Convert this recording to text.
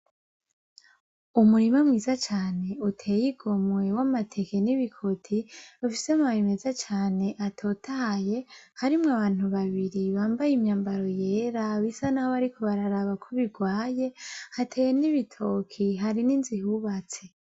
Umurima mwiza cane uteye igomwe w'amateke n'ibikoti ufise amababi meza cane atotahaye harimwo abantu babiri bambaye imyammbaro yera bisa naho bararaba ko birwaye hateye n'ibitoki hari n'inzu ihubatse.